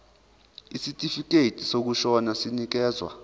isitifikedi sokushona sinikezwa